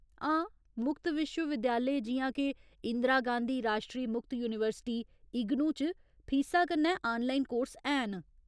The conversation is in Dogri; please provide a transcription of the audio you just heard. हां, मुक्त विश्व विद्यालय, जि'यां के इंदिरा गांधी राश्ट्री मुक्त यूनीवर्सिटी, इग्नू च फीसा कन्नै आनलाइन कोर्स हैन।